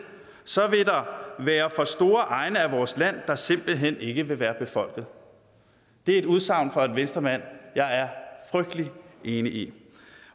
så vil der være for store egne af vores land der simpelthen ikke vil være befolket det er et udsagn fra en venstremand jeg er frygtelig enig i